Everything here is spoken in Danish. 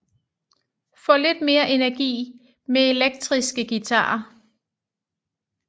Få lidt mere energi med elektriske guitarer